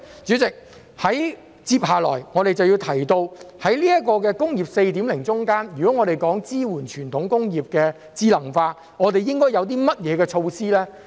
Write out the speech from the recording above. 主席，接下來我們就要提到，在"工業 4.0" 之中，如果要支援傳統工業智能化，應該有些甚麼措施呢？